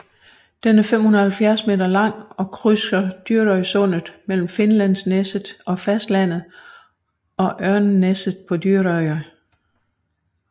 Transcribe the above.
Den er 570 meter lang og krydser Dyrøysundet mellem Finnlandsneset på fastlandet og Ørnneset på Dyrøya